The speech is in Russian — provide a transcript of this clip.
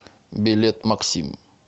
билет максим